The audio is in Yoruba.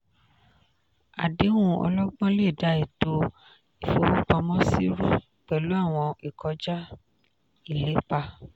àdéhùn ọlọ́gbọ́n lè da ètò ìfowópamọ́sí rú pẹ̀lú àwọn ìkọjá-ìlépa.